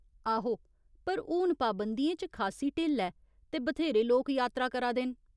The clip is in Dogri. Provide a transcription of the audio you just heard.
आहो, पर हून पाबंदियें च खासी ढिल्ल ऐ ते बथ्हेरे लोक यात्रा करा दे न।